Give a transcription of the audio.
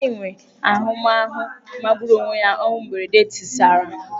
Anyị nwere ahụmahụ magburu onwe ya ọnwụ mberede tisara.